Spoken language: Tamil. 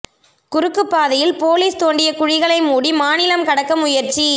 குறுக்குப் பாதையில் போலீஸ் தோண்டிய குழிகளை மூடி மாநிலம் கடக்க முயற்சி